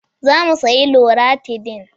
Za mu sayi loratidin.